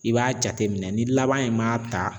I b'a jate minɛn ni laban in m'a ta